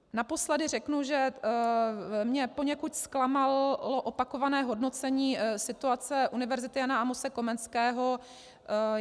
Naposledy řeknu, že mě poněkud zklamalo opakované hodnocení situace Univerzity Jana Amose Komenského.